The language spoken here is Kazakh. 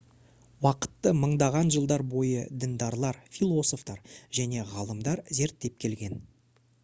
уақытты мыңдаған жылдар бойы діндарлар философтар және ғалымдар зерттеп келген